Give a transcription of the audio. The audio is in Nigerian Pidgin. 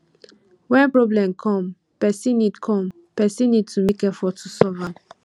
when problem come person need come person need to make effort to solve am